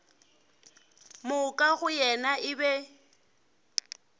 moka go yena e be